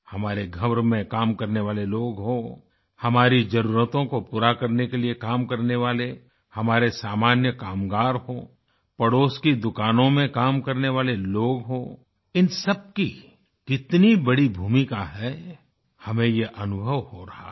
हमारे घरों में काम करने वाले लोग हों हमारी ज़रूरतों को पूरा करने के लिए काम करने वाले हमारे सामान्य कामगार हों पड़ोस की दुकानों में काम करने वाले लोग हों इन सबकी कितनी बड़ी भूमिका है हमें यह अनुभव हो रहा है